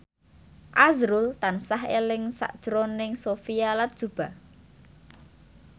azrul tansah eling sakjroning Sophia Latjuba